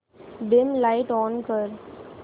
dim light on कर